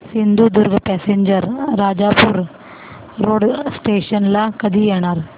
Sindhudurg passenger Rajapur road station ला कधी येणार